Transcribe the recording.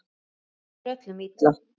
Það líður öllum illa.